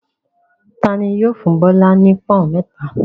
Ta ni yóò fún Bọ́lá ní pọ́ń-ọ̀n mẹ́ta?